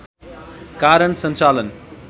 कारण सञ्चालन